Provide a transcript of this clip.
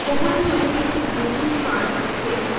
ওপরের ছবিটি একটি মুরগীর ফার্ম -এর ছবি।